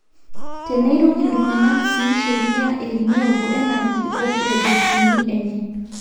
tenei iruk iltungana sii sheria e renewable energy o projekiti enye